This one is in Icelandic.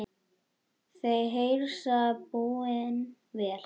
Þau hreinsa búin vel.